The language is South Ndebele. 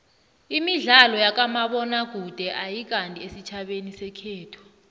imidlalo yakamabona kude ayikandi esitjhabeni sekhethu